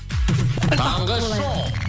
таңғы шоу